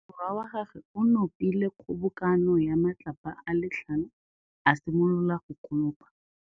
Morwa wa gagwe o nopile kgobokanô ya matlapa a le tlhano, a simolola go konopa.